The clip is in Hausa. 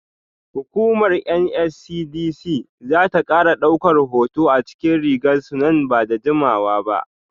Hukumar NSCDC za ta kara daukar hoto a cikin rigar su nan ba da jimawa ba.